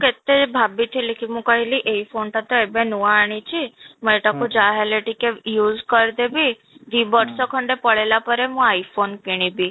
କେତେ ଭାବିଥିଲି କି ମୁଁ କହିଲି ଏଇ phone ଟା ତ ଏବେ ନୂଆ ଆଣିଛି ମୁଁ ଏଇଟାକୁ ଯାହାହେଲେ ଟିକେ use କରିଦେବି ଦି ବର୍ଷ ଖଣ୍ଡେ ପଳେଇଲା ପରେ ମୁଁ I phone କିଣିବି